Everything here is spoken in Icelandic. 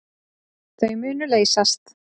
Þau munu leysast.